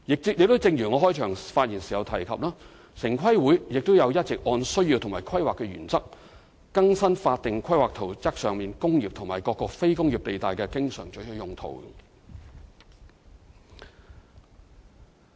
正如我在開場發言時提及，城規會亦一直有按照需要及規劃原則，更新法定規劃圖則上"工業"及各"非工業"地帶的經常准許用途。